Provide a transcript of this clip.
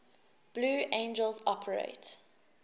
blue angels operate